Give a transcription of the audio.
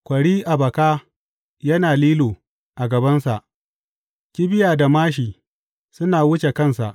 Kwari a baka yana lilo a gabansa kibiya da māshi suna wuce kansa.